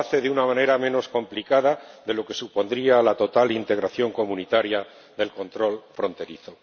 Y lo hace de una manera menos complicada de lo que supondría la total integración comunitaria del control fronterizo.